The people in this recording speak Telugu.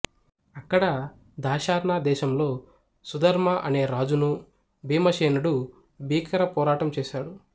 అక్కడ దాశార్ణ దేశంలో సుధర్మ అనే రాజును భీమసేనుడు భీకర పోరాటం చేసాడు